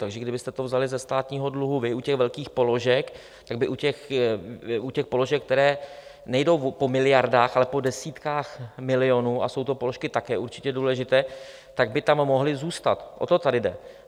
Takže kdybyste to vzali ze státního dluhu vy u těch velkých položek, tak by u těch položek, které nejdou po miliardách, ale po desítkách milionů - a jsou to položky také určitě důležité - tak by tam mohly zůstat, o to tady jde.